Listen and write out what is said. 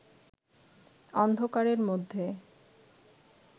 অন্ধকারের মধ্যে